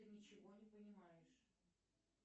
ты ничего не понимаешь